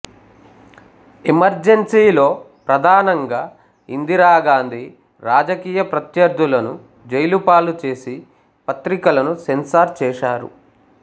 ఎమర్జెన్సీలో ప్రధానంగా ఇందిరా గాంధీ రాజకీయ ప్రత్యర్థులను జైలుపాలు చేసి పత్రికలను సెన్సార్ చేశారు